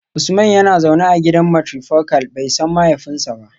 Usman yana zaune a gidan matrifocal, bai san mahaifinsa ba